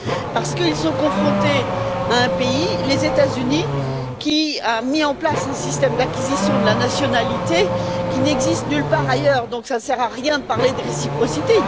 parce qu'ils sont confrontés à un pays, les États Unis, qui a mis en place un système d'acquisition de la nationalité qui n'existe nulle part ailleurs, donc cela ne sert à rien de parler de réciprocité.